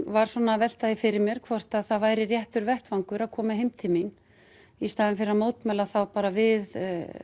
var svona að velta því fyrir mér hvort það væri réttur vettvangur að koma heim til mín í staðinn fyrir að mótmæla bara við